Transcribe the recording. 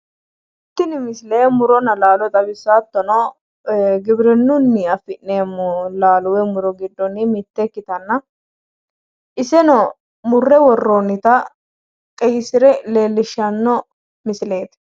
Tini misile muronna laalo xawissawo hattono giwirinnunni afi'neemmo laalo woy muro giddo mitye ikkitanna iseno murre worroonnita qeyyisire leellishshanno misileeti.